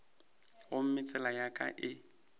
gomme tsela ya ka e